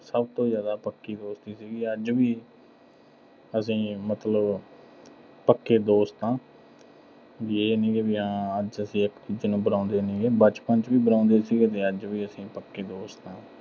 ਸਭ ਤੋ ਜ਼ਿਆਦਾ ਪੱਕੀ ਦੋਸਤੀ ਸੀਗੀ। ਅੱਜ ਵੀ ਅਸੀਂ ਮਤਲਬ ਪੱਕੇ ਦੋਸਤ ਆਂ। ਵੀ ਇਹ ਨੀਂ ਗਾ ਹਾਂ ਅੱਜ ਅਸੀਂ ਇੱਕ ਦੂਜੇ ਨੂੰ ਬੁਲਾਉਂਦੇ ਨੀਂ ਗੇ। ਬਚਪਨ ਚ ਵੀ ਬੁਲਾਉਂਦੇ ਸੀਗੇ ਤੇ ਅੱਜ ਵੀ ਅਸੀਂ ਪੱਕੇ ਦੋਸਤ ਆਂ।